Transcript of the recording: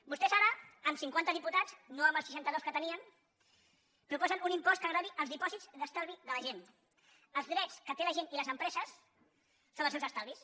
vostès ara amb cinquanta diputats no amb els seixanta dos que tenien proposen un impost que gravi els dipòsits d’estalvi de la gent els drets que té la gent i les empreses sobre els seus estalvis